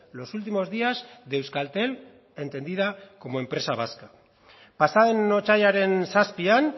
los últimos días de euskaltel entendida como empresa vasca pasaden otsailaren zazpian